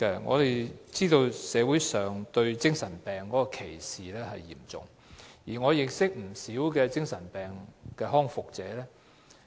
我們知道社會上對精神病患者的歧視嚴重，而我也認識不少精神病康復者。